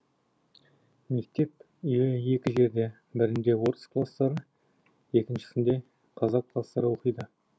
мектеп үйі екі жерде бірінде орыс кластары екіншісінде қазақ кластары оқиды